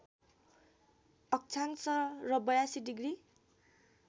अक्षांश र ८२ डिग्री